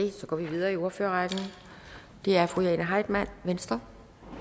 det så går vi videre i ordførerrækken og det er fru jane heitmann venstre